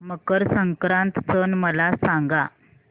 मकर संक्रांत सण मला सांगा